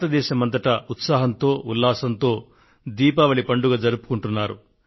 దేశం అంతటా ఉత్సాహంగా ఉల్లాసంగా దీపావళి పండుగను జరుపుకొంటున్నారు